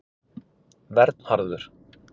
Vernharður